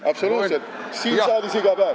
Absoluutselt, siin saalis iga päev.